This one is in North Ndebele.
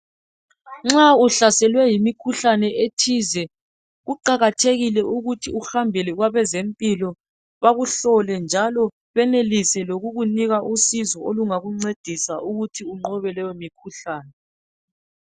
nxa uhlaselwe yikhuhlane ethize kuqakathekile ukuthi uhambele kwabezempilo bakuhlole njalo benelise ukukunika usizolokuti uyenelise ukunqoba leyo mikhuhlane.